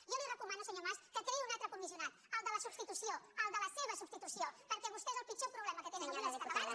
jo li recomano senyor mas que creï un altre comissionat el de la substitució el de la seva substitució perquè vostè és el pitjor problema que tenen avui els catalans